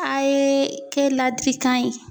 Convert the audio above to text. A ye kɛ ladilikan ye.